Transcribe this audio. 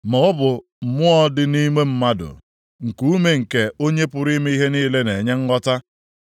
Ma ọ bụ mmụọ dị nʼime mmadụ, nkuume nke Onye pụrụ ime ihe niile na-enye nghọta.